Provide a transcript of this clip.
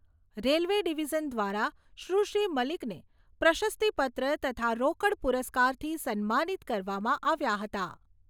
Railway division દ્વારા સુશ્રી મલિકને પ્રશસ્તીપત્ર તથા રોકડ પુરસ્કારથી સન્માનિત કરવામાં આવ્યા હતા.